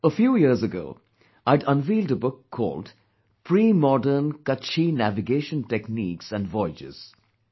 A few years ago, I had unveiled a book called "Premodern Kutchi Navigation Techniques and Voyages'